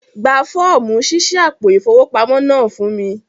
Gbà fọ̀ọ̀mú ṣíṣí àpò ifowópamọ̀ náà fún mi!